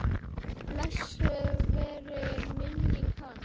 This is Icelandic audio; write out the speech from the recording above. Blessuð veri minning hans.